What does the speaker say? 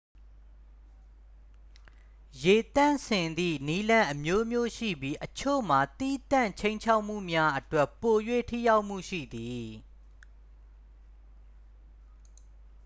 ရေသန့်စင်သည့်နည်းလမ်းအမျိုးမျိုးရှိပြီး အချို့မှာ သီးသန့်ခြိမ်းခြောက်မှုများအတွက် ပို၍ ထိရောက်မှုရှိသည်